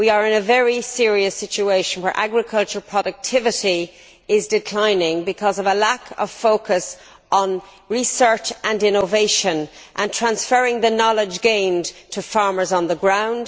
We are in a very serious situation, where agricultural productivity is declining because of a lack of focus on research and innovation and on transferring the knowledge gained to farmers on the ground.